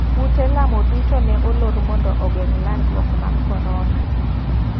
Ute lamo duto ne olor mondo ogeng' landruok mar korona.